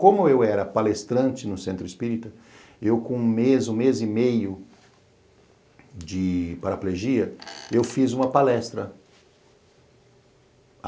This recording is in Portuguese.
Como eu era palestrante no Centro Espírita, eu com um mês, um mês e meio de paraplegia, eu fiz uma palestra.